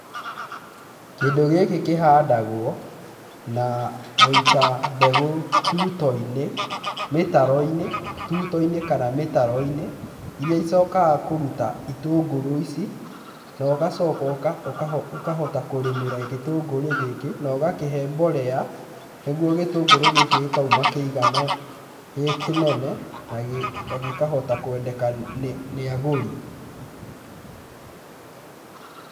Kĩndũ gĩkĩ kĩhandagwo na gũita mbegũ tuto-inĩ mĩtaro-inĩ tutoi-nĩ kana mĩtaro-inĩ iria icokaga kũruta itũngũrũ ici nogacooka ũkahota kũrĩmĩra gĩtũngũrũ gĩkĩ naũgakĩhe mborea nĩguo gĩtũngũrũ gĩkĩkĩ gĩkauma gĩkĩnene nagĩ nagĩkahota kwendeka nĩ nĩagũri .